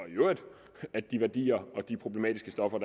at de værdier og de problematiske stoffer